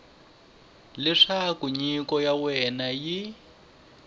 leswaku nyiko ya wena yi